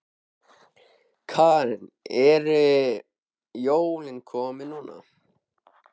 Karen: En eru jólin komin núna?